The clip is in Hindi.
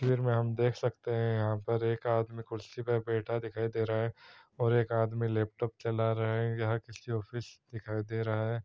इधर में हम देख सकते हैं यहां पर एक आदमी कुर्सी पर बैठा दिखाई दे रहा है और एक आदमी लैपटॉप चला रहे हैं या किसी ऑफिस दिखाई दे रहा है।